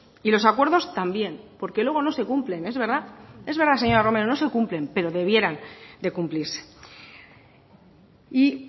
y los acuerdos también porque luego no se cumplen es verdad es verdad señora romero no se cumplen pero debieran de cumplirse y